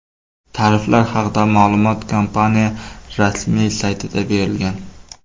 Tariflar haqida ma’lumot kompaniya rasmiy saytida berilgan .